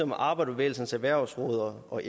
arbejderbevægelsens erhvervsråd og